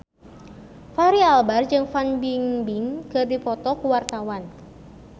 Fachri Albar jeung Fan Bingbing keur dipoto ku wartawan